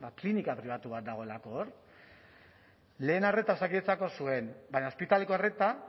klinika pribatu bat dagoelako hor lehen arreta osakidetzak hor zuen baina ospitaleko arreta